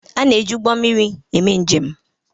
A na-eji ụgbọ mmiri eme njem